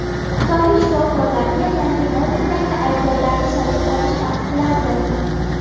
Xitoylik shifokorlarga yangi modeldagi iPhone’larni sotib olish taqiqlandi.